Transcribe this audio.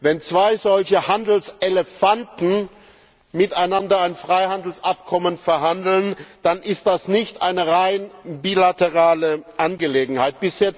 Wenn zwei solche Handelselefanten miteinander über ein Freihandelsabkommen verhandeln, dann ist das nicht eine rein bilaterale Angelegenheit.